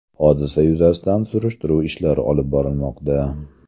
Hodisa yuzasidan surishtiruv ishlari olib borilmoqda.